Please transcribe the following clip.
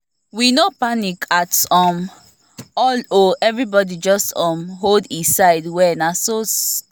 we no panic at um all o everybody just um hold e side well na so the um event take go well